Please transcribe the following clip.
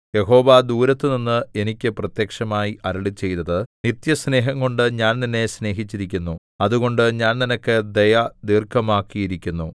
യഹോവ ദൂരത്തുനിന്ന് എനിക്ക് പ്രത്യക്ഷമായി അരുളിച്ചെയ്തത് നിത്യസ്നേഹംകൊണ്ട് ഞാൻ നിന്നെ സ്നേഹിച്ചിരിക്കുന്നു അതുകൊണ്ട് ഞാൻ നിനക്ക് ദയ ദീർഘമാക്കിയിരിക്കുന്നു